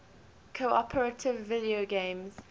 cooperative video games